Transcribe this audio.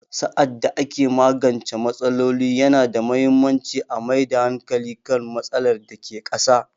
Sa'ad da ake magance matsaloli, yana da muhimmanci a mai da hankali kan matsalar da ke ƙasa